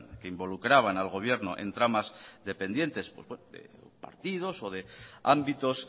que involucraban al gobierno en tramas dependientes de partidos o de ámbitos